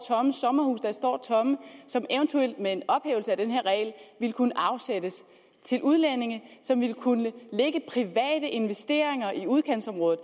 tomme og som eventuelt med en ophævelse af den her regel ville kunne afsættes til udlændinge som ville kunne lægge private investeringer i udkantsområdet